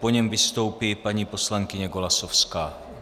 Po něm vystoupí paní poslankyně Golasowská.